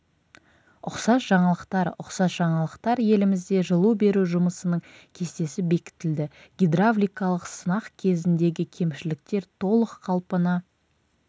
ұқсас жаңалықтар ұқсас жаңалықтар елімізде жылу беру жұмысының кестесі бекітілді гидравликалық сынақ кезіндегі кемшіліктер толық қалпына